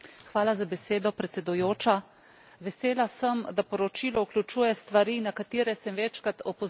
Vesela sem, da poročilo vključuje stvari, na katere sem večkrat opozorila tudi sama v dosedanjem delu.